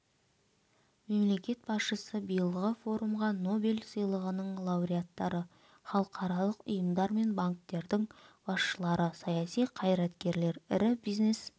мемлекет басшысы биылғы форумға нобель сыйлығының лауреаттары халықаралық ұйымдар мен банктердің басшылары саяси қайраткерлер ірі бизнес